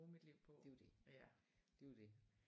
Det jo det det jo det